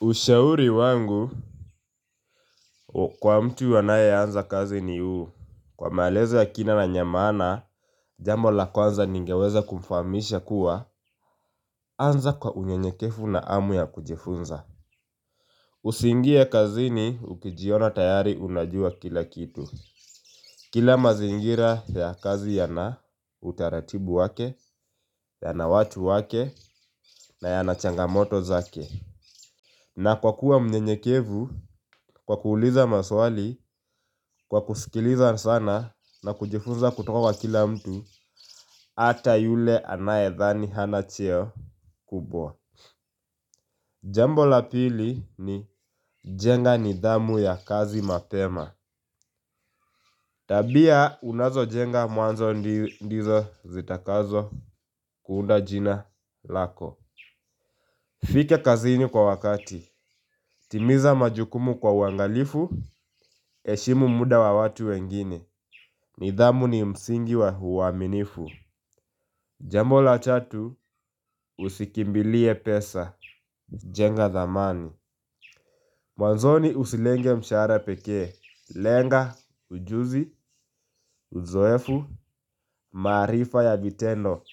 Ushauri wangu, kwa mtu wanaye anza kazi ni uu, kwa maelezo ya kina na yenye maana jambo la kwanza ningeweza kukufahamisha kuwa anza kwa unyenyekefu na amu ya kujifunza. Usingie kazini ukijiona tayari unajua kila kitu kila mazingira ya kazi ya na utaratibu wake ya na watu wake na ya na changamoto zake na kwa kuwa unyenyekevu, kwa kuuliza maswali, kwa kusikiliza sana na kujifunza kutoka wa kila mtu ata yule anaedhani hana cheo kubwa jambo la pili ni jenga ni dhamu ya kazi mapema tabia unazo jenga mwanzo ndizo zitakazo kuunda jina lako fika kazi ini kwa wakati. Timiza majukumu kwa uwangalifu heshimu muda wa watu wengine nidhamu ni msingi wa huaminifu jambo la tatu usikimbilie pesa, jenga dhamani. Mwanzoni usilenge mshahara pekee, lenga, ujuzi, uzoefu, marifa ya vitendo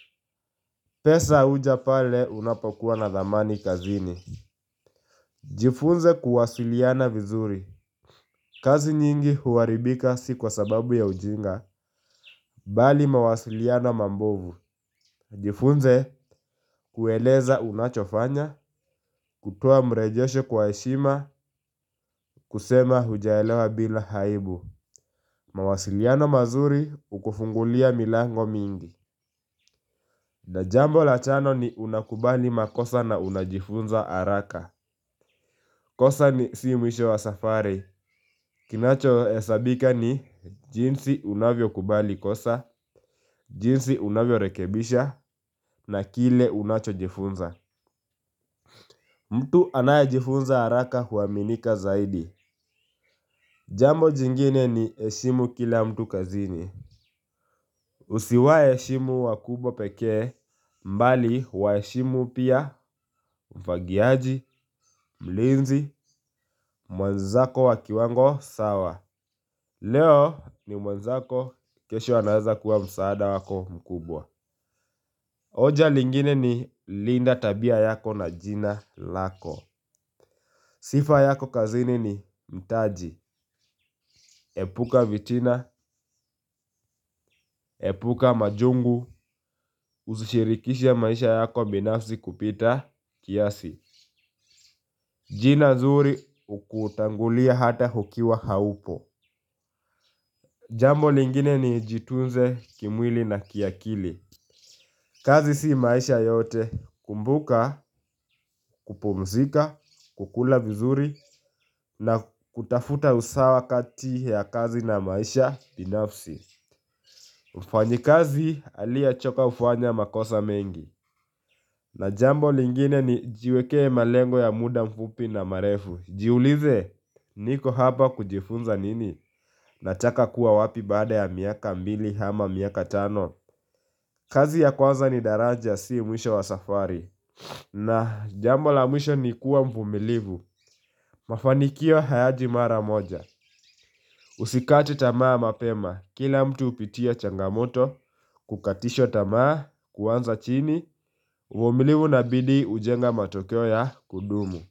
pesa uja pale unapokuwa na dhamani kazini. Jifunze kuwasiliana vizuri kazi nyingi huharibika si kwa sababu ya ujinga, bali mawasiliana mambovu. Jifunze kueleza unachofanya, kutoa marejesho kwa heshima, kusema hujaelewa bila aibu. Mawasiliano mazuri hukufungulia milango mingi. Na jambo la tano ni unakubali makosa na unajifunza haraka. Kosa ni si mwisho wa safari kinacho hesabika ni jinsi unavyo kubali kosa, jinsi unavyo rekebisha na kile unacho jifunza mtu anayejifunza haraka huaminika zaidi. Jambo jingine ni heshimu kila mtu kazini. Usiwaheshimu wakubwa peke, bali waheshimu pia mfagiaji, mlinzi mwenzako wakiwango sawa. Leo ni mwenzako, kesho anaeza kuwa msaada wako mkubwa. Oja lingine ni linda tabia yako na jina lako sifa yako kazini ni mtaji. Epuka vitina, epuka majungu, usishirikishe maisha yako binafsi kupita kiasi. Jina nzuri ukutangulia hata ukiwa haupo. Jambo lingine ni jitunze kimwili na kiakili. Kazi si maisha yote kumbuka, kupumzika, kukula vizuri na kutafuta usawa kati ya kazi na maisha binafsi. Jifunze kuwasiliana vizuri kazi nyingi huaribika si kwa sababu ya ujinga, bali mawasiliana mambovu na jambo lingine ni jiwekee malengo ya muda mfupi na marefu. Jiulize niko hapa kujifunza nini? Unataka kuwa wapi baada ya miaka mbili ama miaka tano? Kazi ya kwanza ni daraja siyo mwisho wa safari. Na jambo la mwisho ni kuwa mvumilivu. Mafanikio hayaji mara moja. Sikati tamaa mapema, kila mtu hupitia changamoto. Kukatishwa tamaa, kuanza chini uvumilivu na bidii hujenga matokea ya kudumu.